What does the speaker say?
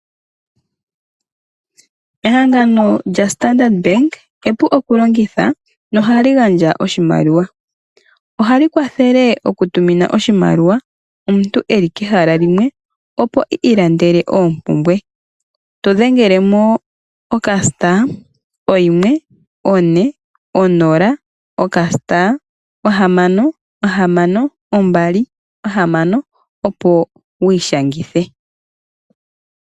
Ehangano lyaStandard bank epu okulongitha ohali gandja oshimaliwa ohali kwathele okutumina oshimaliwa uuna omuntu eli kehala limwe opo ilandele oompumbwe to dhenge oka* 140*662 opo wu ishangithe.